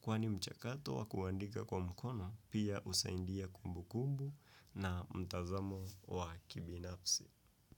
Kwani mchakato wa kuandika kwa mkono, pia usandia kumbu kumbu na mtazamo wa kibinafsi.